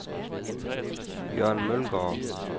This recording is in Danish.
Jørn Mølgaard